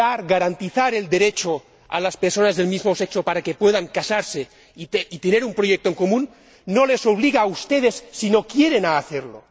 Garantizar el derecho a las personas del mismo sexo para que puedan casarse y tener un proyecto en común no les obliga a ustedes, si no quieren, a hacerlo.